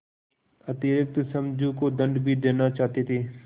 अतिरिक्त समझू को दंड भी देना चाहते थे